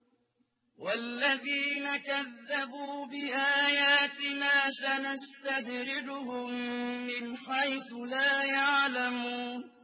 وَالَّذِينَ كَذَّبُوا بِآيَاتِنَا سَنَسْتَدْرِجُهُم مِّنْ حَيْثُ لَا يَعْلَمُونَ